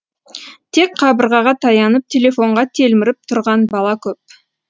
тек қабырғаға таянып телефонға телміріп тұрған бала көп